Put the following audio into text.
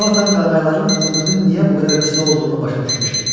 Conatan qağayların ömrünün niyə bu qədər qısa olduğunu başa düşmüşdü.